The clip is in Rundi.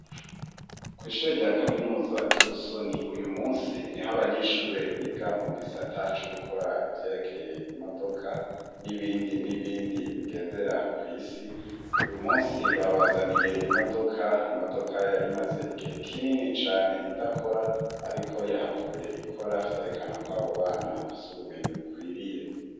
kw'ishure rya kaminuza ry'i Busoni, uyu munsi ni ho abanyeshure biga mu gisata co gukora ivyerekeye imodoka, n'ibindi n'ibindi bigendera kw'isi, uyu munsi babazaniye imodoka, imodoka yari maze igihe kinini cane idakora, ariko yahavuye ikora vyerekana ko abo bana bafise ubumenyi bukwiriye.